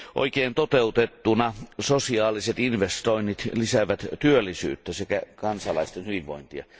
Oikein toteutettuina sosiaaliset investoinnit lisäävät työllisyyttä sekä kansalaisten hyvinvointia.